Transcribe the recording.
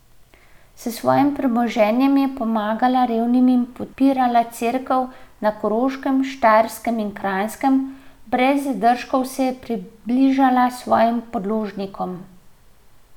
S svojim premoženjem je pomagala revnim in podpirala Cerkev na Koroškem, Štajerskem in Kranjskem, brez zadržkov se je približala svojim podložnikom.